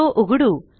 तो उघडू